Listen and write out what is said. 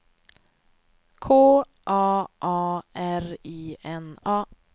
K A A R I N A